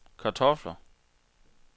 kartofler